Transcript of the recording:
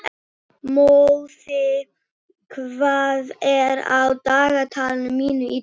Móði, hvað er á dagatalinu mínu í dag?